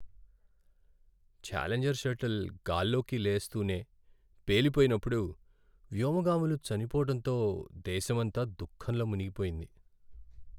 Challenger shuttle గాల్లోకి లేస్తూనే పేలి పోయినప్పుడు వ్యోమగాములు చనిపోవటంతో దేశమంతా దుఖంలో మునిగిపోయింది.